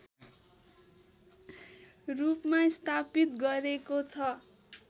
रूपमा स्थापित गरेको छ